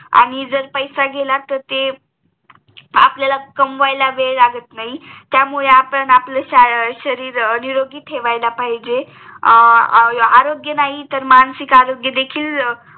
आणि जर पैसा गेला तेर ते आपल्याला कमवायला वेळ लागत नाही त्यामुळे आपण आपले शरीर निरोगी ठेवायला पाहिजे अं आरोग्य नाही तेर मानसिक आरोग्य देखील